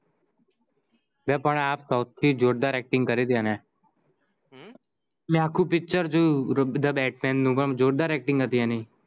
લે પણ આ સવુથી જોરદાર acting કરી છે એને મે આખું picture જોયું ધ બેટમેન નું પણ જોરદાર acting હતી એની